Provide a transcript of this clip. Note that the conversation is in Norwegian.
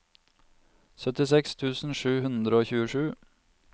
syttiseks tusen sju hundre og tjuesju